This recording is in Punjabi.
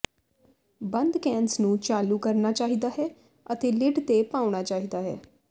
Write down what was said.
ਬੰਦ ਕੈਨਜ਼ ਨੂੰ ਚਾਲੂ ਕਰਨਾ ਚਾਹੀਦਾ ਹੈ ਅਤੇ ਲਿਡ ਤੇ ਪਾਉਣਾ ਚਾਹੀਦਾ ਹੈ